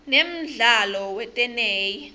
nemdlalo weteney